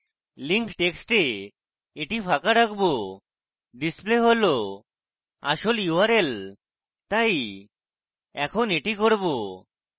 link টেক্সটে এটি ফাঁকা রাখবো display হল আসল url; তাই in এটি করব